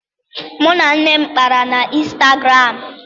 Mụ na nne m kpara na Ịnstagram